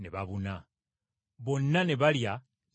Bonna ne balya ne bakkuta.